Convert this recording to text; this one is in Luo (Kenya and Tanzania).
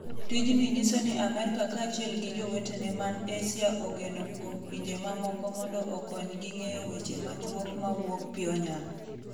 Tijni nyiso ni Amerka kaachiel gi jowetene man Asia ogeno kuom pinje mamoko mondo okonygi ng'eyo weche machuok mawuok Pyonyang.